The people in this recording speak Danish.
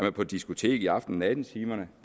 er på et diskotek i aften og nattetimerne